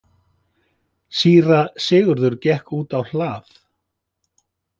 Síra Sigurður gekk út á hlað.